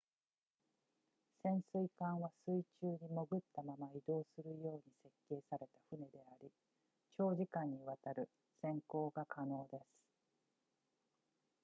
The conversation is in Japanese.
潜水艦は水中に潜ったまま移動するように設計された船であり長時間にわたる潜航が可能です